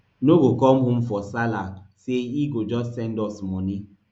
no go come home for sallah say e go just send us money